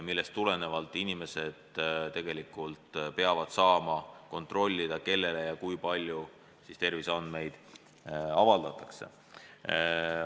Inimesed peavad saama kontrollida, kellele ja kui palju nende terviseandmeid avaldatakse.